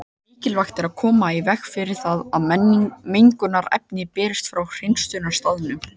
Mikilvægt er að koma í veg fyrir að mengunarefni berist frá hreinsunarstaðnum.